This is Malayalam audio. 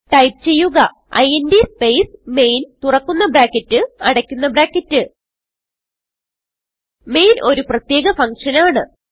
ടൈപ്പ് ചെയ്യുക ഇന്റ് സ്പേസ് മെയിൻ തുറക്കുന്ന ബ്രാക്കറ്റ് അടയ്ക്കുന്ന ബ്രാക്കറ്റ് മെയിൻ ഒരു പ്രത്യേക ഫങ്ഷൻ ആണ്